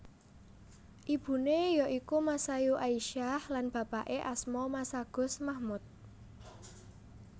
Ibuné ya iku Masayu Aisyah lan bapaké asma Masagus Mahmud